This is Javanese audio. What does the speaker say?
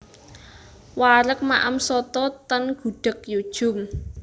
Wareg maem soto ten Gudeg Yu Djum